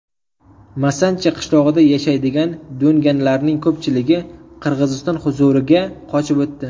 Masanchi qishlog‘ida yashaydigan do‘nganlarning ko‘pchiligi Qirg‘iziston huzuriga qochib o‘tdi.